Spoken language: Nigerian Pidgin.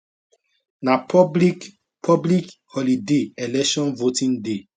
na public public holiday election voting day